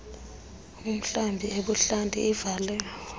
umhlambi ebuhlanti ivale